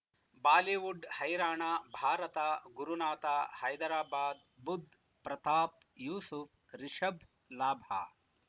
Bollywood ಹೈರಾಣ ಭಾರತ ಗುರುನಾಥ ಹೈದರಾಬಾದ್ ಬುಧ್ ಪ್ರತಾಪ್ ಯೂಸುಫ್ ರಿಷಬ್ ಲಾಭ